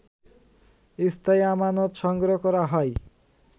স্থায়ী আমানত সংগ্রহ করা হয়